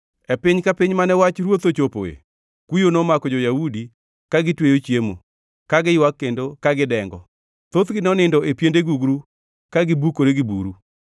E piny ka piny mane wach ruoth ochopoe, kuyo nomako jo-Yahudi, ka gitweyo chiemo, ka giywak kendo ka gidengo. Thothgi nonindo e piende gugru ka gibukore gi buru.